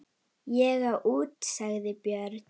Ég á út, sagði Björn.